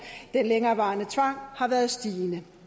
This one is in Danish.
den længerevarende tvang har været stigende det